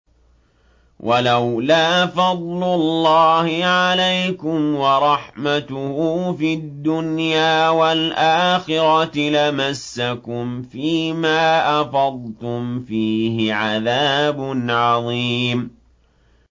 وَلَوْلَا فَضْلُ اللَّهِ عَلَيْكُمْ وَرَحْمَتُهُ فِي الدُّنْيَا وَالْآخِرَةِ لَمَسَّكُمْ فِي مَا أَفَضْتُمْ فِيهِ عَذَابٌ عَظِيمٌ